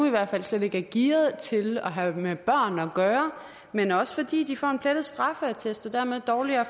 slet ikke er gearet til at have med børn at gøre men også fordi de får en plettet straffeattest og dermed dårligere